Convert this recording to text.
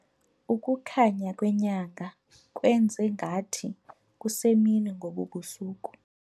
Ukukhanya kwenyanga kwenze ngathi kusemini ngobu busuku.